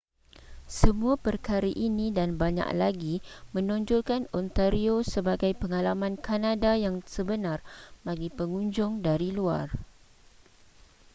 semua perkara ini dan banyak lagi menonjolkan ontario sebagai pengalaman kanada yang sebenar bagi pengunjung dari luar